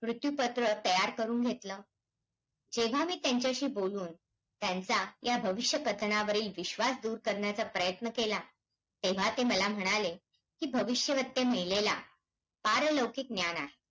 दहा जिल्हे थेट शिवाय परिघातले चौदा जिल्हे चोवीस तालुके ते ठाणे चारशे गाव अस